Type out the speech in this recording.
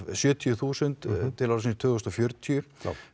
sjötíu þúsund til ársins tvö þúsund og fjörutíu